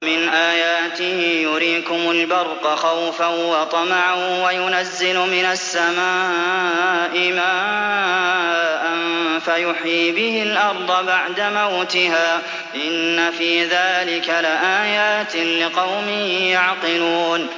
وَمِنْ آيَاتِهِ يُرِيكُمُ الْبَرْقَ خَوْفًا وَطَمَعًا وَيُنَزِّلُ مِنَ السَّمَاءِ مَاءً فَيُحْيِي بِهِ الْأَرْضَ بَعْدَ مَوْتِهَا ۚ إِنَّ فِي ذَٰلِكَ لَآيَاتٍ لِّقَوْمٍ يَعْقِلُونَ